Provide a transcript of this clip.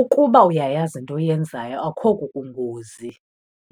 Ukuba uyayazi into oyenzayo akho kukungozi.